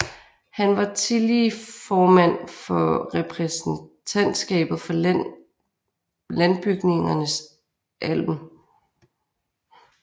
Han var tillige formand for repræsentantskabet for Landbygningernes alm